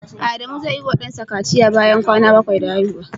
Adamu zai yi wa dansa kaciya bayan kwana 7 da haihuwa.